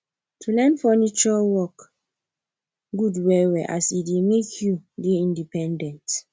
to learn furniture work good well well as e dey make you dey independent